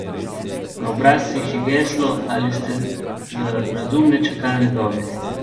Na obrazcih je geslo Ali ste za razumne čakalne dobe?